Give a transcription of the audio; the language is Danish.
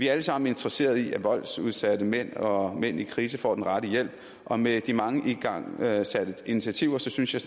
alle sammen interesserede i at voldsudsatte mænd og mænd i krise får den rette hjælp og med de mange igangsatte initiativer synes jeg